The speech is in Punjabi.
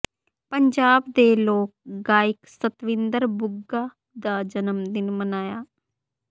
ਪੰਜਾਬ ਦੇ ਲੋਕ ਗਾਇਕ ਸਤਵਿੰਦਰ ਬੁੱਗਾ ਦਾ ਜਨਮ ਦਿਨ ਮਨਾਇਆ